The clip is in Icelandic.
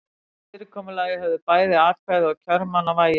Með þessu fyrirkomulagi höfðu bæði atkvæði kjörmanna vægi.